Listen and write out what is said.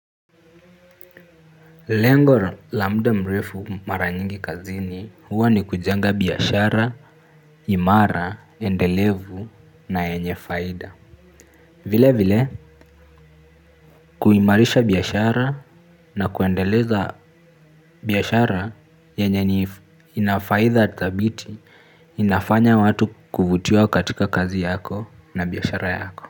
Lengo la muda mrefu mara nyingi kazini huwa ni kujenga biashara, imara, endelevu na yenye faida. Vile vile, kuimarisha biashara na kuendeleza biashara yenye ni ina faida thabiti inafanya watu kutiwa katika kazi yako na biashara yako.